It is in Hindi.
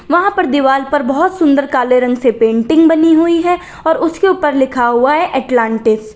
वहां पर दीवाल पर बहुत सुंदर काले रंग से पेंटिंग बनी हुई है और उसके ऊपर लिखा हुआ है अटलांटिस ।